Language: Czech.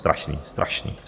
Strašné, strašné.